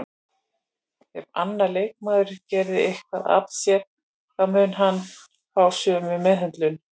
Ef annar leikmaður gerir eitthvað af sér þá mun hann fá sömu meðhöndlun